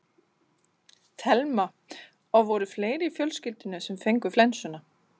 Telma: Og voru fleiri í fjölskyldunni sem fengu flensuna?